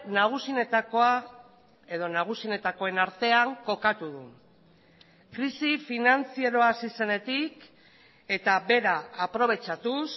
nagusienetakoa edo nagusienetakoen artean kokatu du krisi finantzieroa hasi zenetik eta bera aprobetxatuz